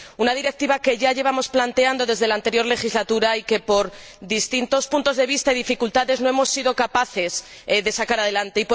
una Directiva que ya llevamos planteando desde la anterior legislatura y que, por distintos puntos de vista y dificultades, no hemos sido capaces de sacar adelante.